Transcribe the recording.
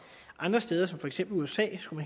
andre steder som for eksempel i usa skulle